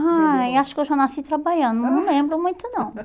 Ai, acho que eu já nasci trabalhando, não lembro muito não.